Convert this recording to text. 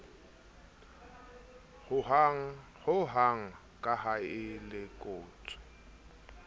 ho hang kaha e lekotswe